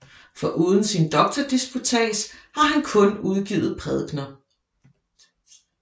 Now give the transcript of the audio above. Foruden sin doktordisputats har han kun udgivet prædikener